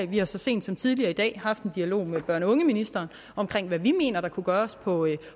vi har så sent som tidligere i dag haft en dialog med børn og ungeministeren om hvad vi mener der kunne gøres på